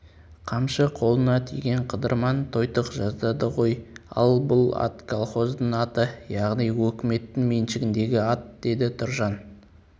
қамшы қолына тиген қыдырман тойтық жаздады ғой ал бұл атколхоздың аты яғни өкіметтің меншігіндегі ат -деді тұржан